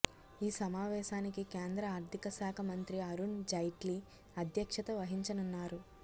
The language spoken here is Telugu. ఈ సమావేశానికి కేంద్ర ఆర్థిక శాఖ మంత్రి అరుణ్ జైట్లీ అధ్యక్షత వహించనున్నారు